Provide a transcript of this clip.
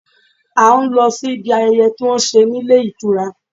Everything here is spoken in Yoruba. À ń lọ sí ibi ayẹyẹ tí wọ́n ń ṣe ní ilé ìtura.